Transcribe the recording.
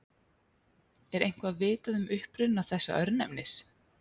Er eitthvað vitað um uppruna þessa örnefnis?